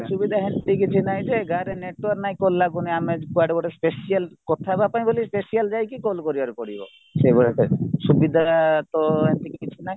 ଅସୁବିଧା ସେମିତି କିଛି ନାହିଁ ଯେ ଗାଁରେ network ନାହିଁ call ଲାଗୁନି ଆମ କୁଆଡେ ଗୋଟେ special କଥା ହେବା ପାଇଁ ବୋଲି special ଯାଇକି call କରିବାର ପଡିବ ସେଈ ଭଳିଆ type ର ସୁବିଧା ତ ସେମିତି କିଛି ନାହିଁ